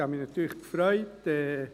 Ich habe mich natürlich gefreut.